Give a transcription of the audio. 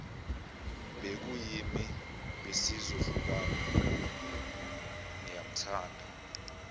bekuyimi besizohlukana ngiyamthanda